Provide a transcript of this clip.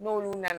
N'olu nana